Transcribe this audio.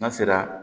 N'a sera